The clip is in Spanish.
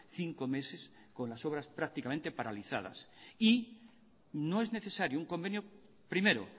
cinco meses con las obras prácticamente paralizadas y no es necesario un convenio primero